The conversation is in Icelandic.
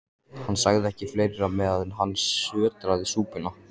Hann sagði ekki fleira, meðan hann sötraði súpuna.